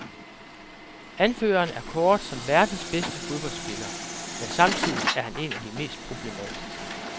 Anføreren er kåret som verdens bedste fodboldspiller, men samtidig er han en af de mest problematiske.